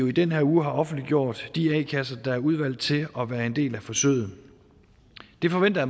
i den her uge offentliggjort de a kasser der er udvalgt til at være en del af forsøget det forventer